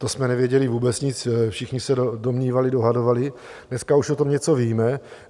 To jsme nevěděli vůbec nic, všichni se domnívali, dohadovali, dneska už o tom něco víme.